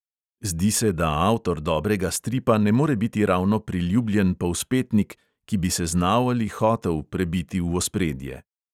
Zdi se, da avtor dobrega stripa ne more biti ravno priljubljen povzpetnik, ki bi se znal ali hotel prebiti v ospredje ...